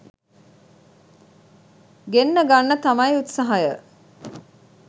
ගෙන්න ගන්න තමයි උත්සාහය